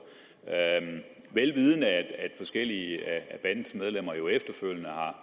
vel vidende at forskellige af bandens medlemmer jo efterfølgende har